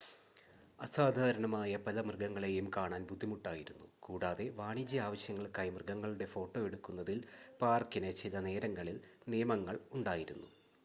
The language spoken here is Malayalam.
അസാധാരണമായ പല മൃഗങ്ങളെയും കാണാൻ ബുദ്ധിമുട്ടായിരുന്നു കൂടാതെ വാണിജ്യ ആവശ്യങ്ങൾക്കായി മൃഗങ്ങളുടെ ഫോട്ടോ എടുക്കുന്നതിൽ പാർക്കിന് ചിലനേരങ്ങളിൽ നിയമങ്ങൾ ഉണ്ടായിരുന്നു